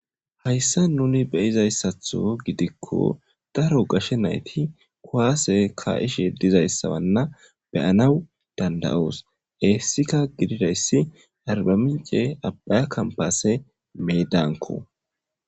Hayssa nuni beyizayssatho gidikko daro gashe nayti kuwaase ka'ishe dizayssawanna beyanaw dandayoos heessika gididayssi harba mince abbaya kampase meedanko